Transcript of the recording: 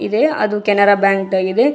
ಇದೆ ಅದು ಕೆನರಾ ಬ್ಯಾಂಕ್ ಆಗಿದೆ.